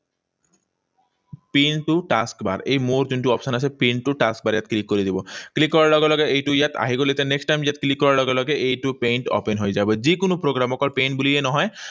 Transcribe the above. Pin to task bar, এই মূৰত যোনটো option আছে, Pin to task bar, ইয়াত click কৰি দিব। Click কৰাৰ লগে লগে এইটো ইয়াত আহি গল। এতিয়া next time ইয়াত click কৰাৰ লগে লগে এইটো paint open হৈ যাব। যিকোনো programme, অকল paint বুলিয়ে নহয়।